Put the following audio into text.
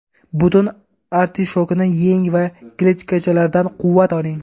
Butun artishokni yeng va kletchatkalardan quvvat oling.